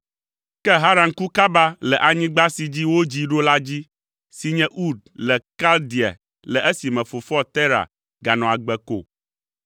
Ke Haran ku kaba le anyigba si dzi wodzii ɖo la dzi si nye Ur le Kaldea le esime fofoa Tera ganɔ agbe ko.